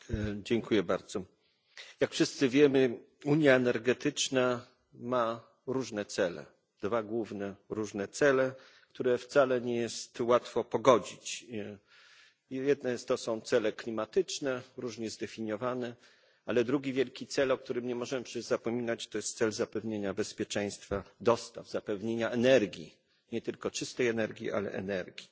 Pani Przewodnicząca! Jak wszyscy wiemy, unia energetyczna ma różne cele, dwa główne różne cele, które wcale nie jest łatwo pogodzić. Z jednej strony to są cele klimatyczne, różnie zdefiniowane, ale drugi wielki cel, o którym nie możemy przecież zapominać, to cel zapewnienia bezpieczeństwa dostaw, zapewnienia energii, nie tylko czystej energii, ale ogólnie energii.